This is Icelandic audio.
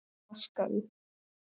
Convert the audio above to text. Vaska upp?